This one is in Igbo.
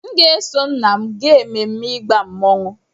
M ga-eso nna m gaa ememme ịgba mmọnwụ.